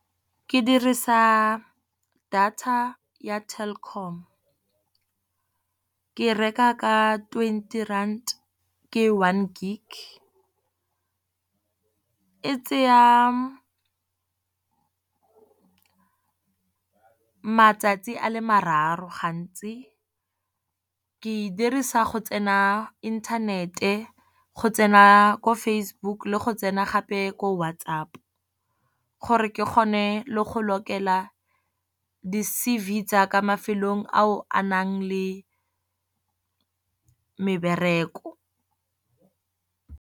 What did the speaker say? Ke dirisa data ya Telkom ke reka ka twenty rand ke one gig. E tsaya matsatsi a le mararo gantsi, ke e dirisa go tsena inthanete go tsena ko Facebook le go tsena gape ko WhatsApp, gore ke kgone le go lokela di-C_V tsa ka mafelong a o a nang le mebereko.